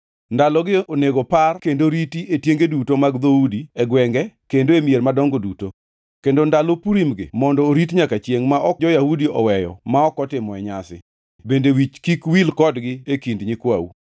Ndalogi onego par kendo riti e tienge duto mag dhoudi, e gwenge, kendo e mier madongo duto. Kendo ndalo Purim-gi mondo orit nyaka chiengʼ ma ok jo-Yahudi oweyo ma ok otimoe nyasi, bende wich kik wil kodgi e kind nyikwau.